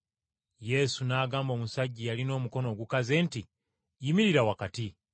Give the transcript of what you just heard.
Yesu n’agamba omusajja eyalina omukono ogukaze nti, “Yimirira wakati.”